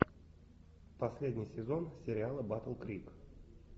последний сезон сериала батл крик